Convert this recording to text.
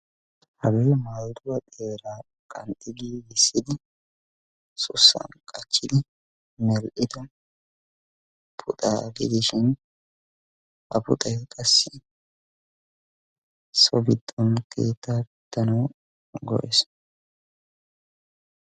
Hagee maayuwaa xeera qanxxidi giigisidi sussan qachchidi mel'ido puxaa gidishin; Ha puxaay qassi so giddon keettaa pittanawu go'es.